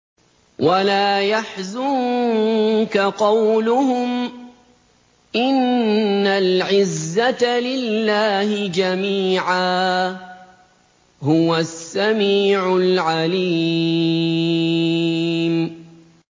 وَلَا يَحْزُنكَ قَوْلُهُمْ ۘ إِنَّ الْعِزَّةَ لِلَّهِ جَمِيعًا ۚ هُوَ السَّمِيعُ الْعَلِيمُ